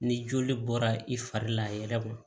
Ni joli bɔra i fari la a yɛrɛ ma